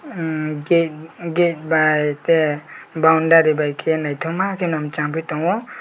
emm gate bai ke boundary ke naitoma ke no changpi tango.